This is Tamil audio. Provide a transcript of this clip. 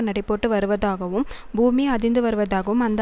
நடைபோட்டு வருவதாகவும் பூமியே அதிர்ந்து வருவதாகவும் அந்த